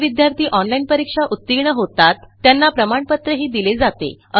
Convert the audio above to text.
जे विद्यार्थी ऑनलाईन परीक्षा उत्तीर्ण होतात त्यांना प्रमाणपत्रही दिले जाते